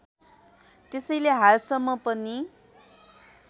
त्यसैले हालसम्म पनि